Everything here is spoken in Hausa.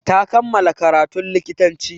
Ta kammala karatun likitanci.